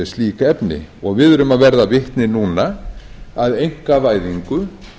slík efni og við erum að verða vitni núna að einkavæðingu